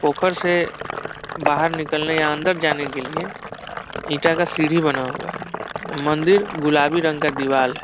पोखर से बाहर निकलने या अन्दर जाने के लिए ईंटा का सीढ़ी बना हुआ है मंदिर गुलाबी रंग का दीवाल है।